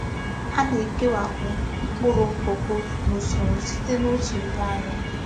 A na-ekewapụ mkpụrụ kọkó n’usoro site na otu ruo anọ.